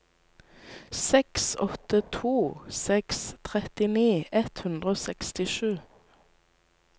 seks åtte to seks trettini ett hundre og sekstisju